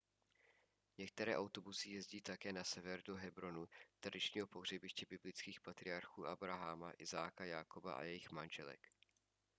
některé autobusy jezdí také na sever do hebronu tradičního pohřebiště biblických patriarchů abraháma izáka jákoba a jejich manželek